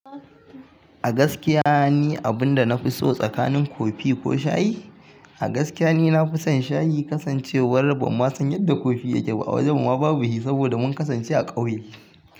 A gaskiya ni abin da na fi so tsakanin kofi ko shayi? A gaskiya ne na fi son shayi kasancewar ba ma san yadda kofi yake ba a wajen mu ba, babu shi saboda mun kasance a ƙauye.